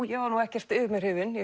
ég var ekkert yfir mig hrifin ég